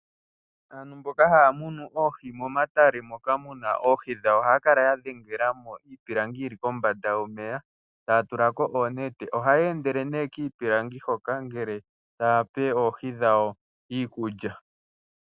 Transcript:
Aantu mboka haya munu oohi momatale moka muna oohi dhawo ohaya kala ya dhengelamo iipilangi yili kombanda yomeya taya tulako oonete .ohaya endele nee kiipilangi hoka ngele tayape oohi dhawo iikulya.